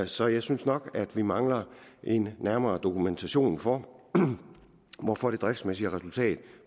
så jeg synes nok at vi mangler en nærmere dokumentation for hvorfor det driftsmæssige resultat